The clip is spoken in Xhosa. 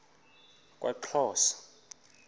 kwaxhosa